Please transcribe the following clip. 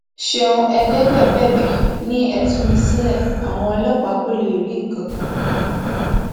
ṣeun ẹgbẹgbẹ bẹbẹ ni ẹ tú mi sílẹ àwọn ọlọpàá kò léríì ǹkankan